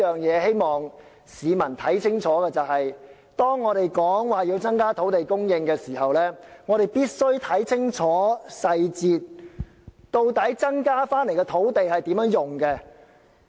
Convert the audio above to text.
我希望市民明白，當政府提出要增加土地供應時，我們必須看清楚計劃的細節，了解增加的土地會作甚麼用途。